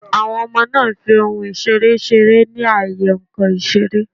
Àwon Omo náà n fi ohun ìseré seré ní àyè nkàn ìseré